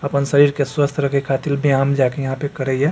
अपन शरीर के स्वस्थ रखे खातिर व्यायाम जा के यहाँ पे करईया।